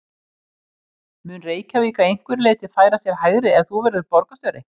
Mun Reykjavík að einhverju leyti færast til hægri ef þú verður borgarstjóri?